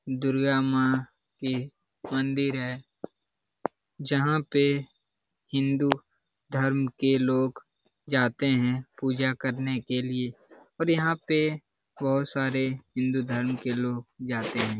दुर्गा माँ की मंदिर है जहां पे हिंदू धर्मं के लोग जाते है पूजा करने के लिए और यहाँ पे बहुत सारे हिंदू धर्मं के लोग जाते हैं ।